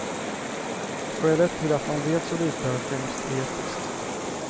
Skälet till att man vet så lite är främst etiskt.